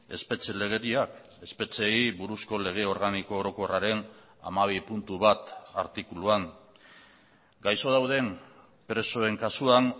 espetxe legediak espetxeei buruzko lege organiko orokorraren hamabi puntu bat artikuluan gaixo dauden presoen kasuan